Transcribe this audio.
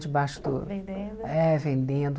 Debaixo do... Vendendo. É, vendendo